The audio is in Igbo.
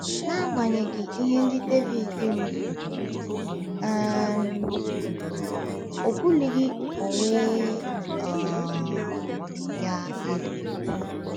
N’agbanyeghị ihe ndị Devid rụzuru um, o bulighị onwe um ya elu.